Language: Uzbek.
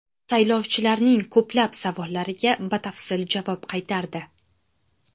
Saylovchilarning ko‘plab savollariga batafsil javob qaytardi.